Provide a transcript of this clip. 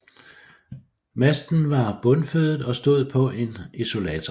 Masten var bundfødet og stod på en isolator